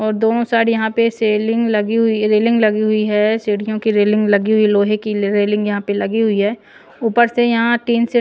और दोनों साइड यहाँ पे सेलिंग लगी हुई रेलिंग लगी हुई है सीढ़ियों की रेलिंग लगी हुई लोहे की रेलिंग यहाँ पे लगी हुई है ऊपर से यहाँ टीन से--